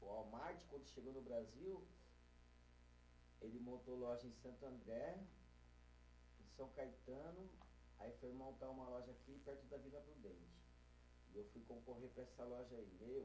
O Walmart, quando chegou no Brasil, ele montou loja em Santo André, São Caetano, aí foi montar uma loja aqui, perto da Vila do Prudente, eu fui concorrer para essa loja aí, eu